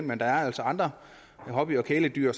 men der er altså andre hobby og kæledyr